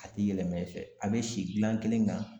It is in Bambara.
A tɛ yɛlɛma i fɛ a bɛ si gilan kelen kan